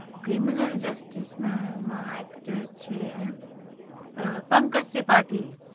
Criminal justice માં ના actor છે પંકજ ત્રિપાઠી